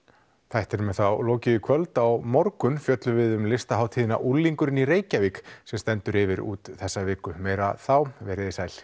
þættnum er þá lokið í kvöld á morgun fjöllum við um listahátíðina unglingurinn í Reykjavík sem stendur yfir út þessa viku meira þá veriði sæl